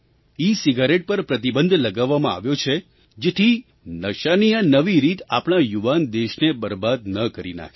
e cigarette પર પ્રતિબંધ લગાવવામાં આવ્યો છે જેથી નશાની આ નવી રીત આપણા યુવાન દેશને બરબાદ ન કરી નાખે